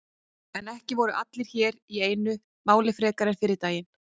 En ekki voru hér allir á einu máli frekar en fyrri daginn.